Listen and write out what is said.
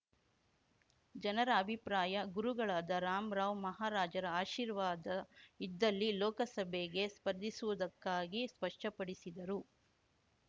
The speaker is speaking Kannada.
ಜನರ ಅಭಿಪ್ರಾಯ ಗುರುಗಳಾದ ರಾಮ್ ರಾವ್‌ ಮಹಾರಾಜರ ಆಶೀರ್ವಾದ ಇದ್ದಲ್ಲಿ ಲೋಕಸಭೆಗೆ ಸ್ಪರ್ಧಿಸುವುದಕ್ಕಾಗಿ ಸ್ಪಷ್ಟಪಡಿಸಿದರು